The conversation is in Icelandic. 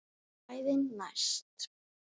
Kvæðin næst?